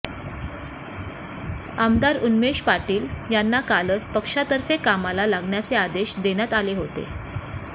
आमदार उन्मेष पाटील यांना कालच पक्षातर्फे कामाला लागण्याचे आदेश देण्यात आले होते